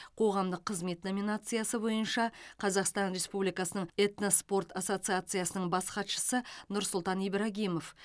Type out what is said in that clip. қоғамдық қызмет номинациясы бойынша қазақстан республикасының этноспорт ассоциациясының бас хатшысы нұрсұлтан ибрагимов